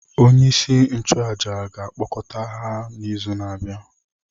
Onyeisi nchụàjà ga-akpọkọta ha n’izu na-abịa.